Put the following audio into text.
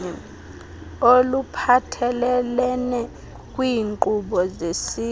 oluphathelelene kwiinkqubo zesizwe